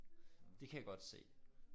Det kan jeg godt se